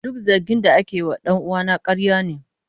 Duk zargin da ake yi wa dan uwana ƙarya ne.